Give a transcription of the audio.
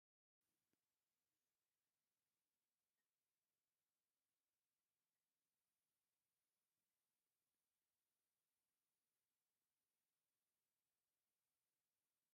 እዚ ናይ በራካ እንስሳ ኮይኑ ብጣዕሚ ሓደገኛ እንትከውን እዚ ብጣዓሚ ንወድሰብ ይኩን ንእንስሳ ሓደገኛ እንትኮን እዚ ናይ በረካ እንስሳ መን እደተበሃለ ይፅዋዕ?